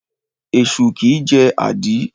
Esu kìí jẹ́ àdí.